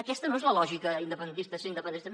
aquesta no és la lògica independentista sí independència no